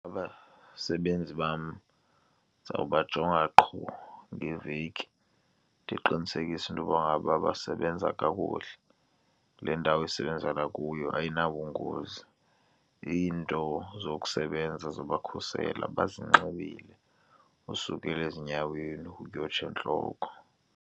Abasebenzi bam ndizawubajonga qho ngeveki ndiqinisekise into yokuba ngaba basebenza kakuhle kule ndawo esisebenza kuyo ayinabungozi. Iinto zokusebenza zobakhusela bazinxibile usukela ezinyaweni, kuyotsho entloko.